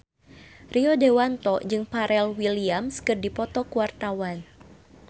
Rio Dewanto jeung Pharrell Williams keur dipoto ku wartawan